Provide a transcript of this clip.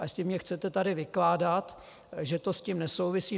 A jestli mně chcete tady vykládat, že to s tím nesouvisí...